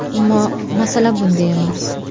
Ammo masala bunda emas.